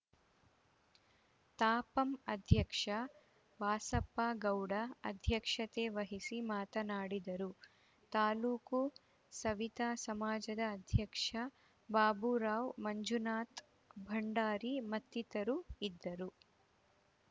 ತಾಪಂ ಅಧ್ಯಕ್ಷ ವಾಸಪ್ಪ ಗೌಡ ಅಧ್ಯಕ್ಷತೆ ವಹಿಸಿ ಮಾತನಾಡಿದರು ತಾಲೂಕು ಸವಿತಾ ಸಮಾಜದ ಅಧ್ಯಕ್ಷ ಬಾಬುರಾವ್‌ ಮಂಜುನಾಥ ಭಂಡಾರಿ ಮತ್ತಿತರರು ಇದ್ದರು